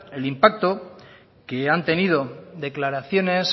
el impacto que han tenido declaraciones